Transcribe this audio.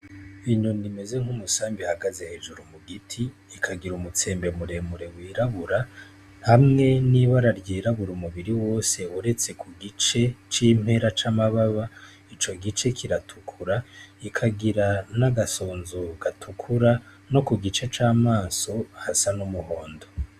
Inyoni imeze nk'umusambi ihagaze hejuru mugiti ,ikagira umutsembe muremure wirabura, hamwe n'ibara ryirabura umubiri wose uretse kugice c'impera c'amababa ,ico gice kiratukura, ikagira n'agasunzu gatukura no kugice c'amaso hasa n'umuhondo.